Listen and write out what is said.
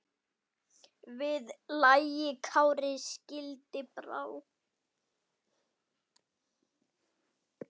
Við lagi Kári skildi brá.